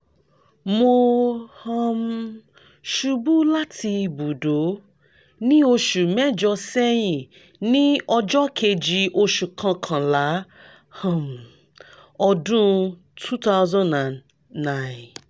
mo um ṣubu lati ibùdó ni oṣu mẹjọ sẹyin ni ọjọ́ kejì oṣù kọkànlá um ọdún two thousand nine